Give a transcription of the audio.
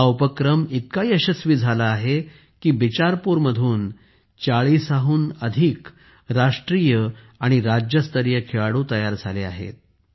हा उपक्रम इतका यशस्वी झाला आहे की बिचारपूरमधून 40 राष्ट्रीय आणि राज्यस्तरीय खेळाडूंची निवड करण्यात आली आहे